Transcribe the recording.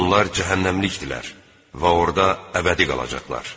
Onlar cəhənnəmlikdirlər və orda əbədi qalacaqlar.